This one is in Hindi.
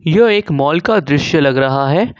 जो एक माल का दृश्य लग रहा है।